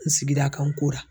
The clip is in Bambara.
N sigira kan n kora.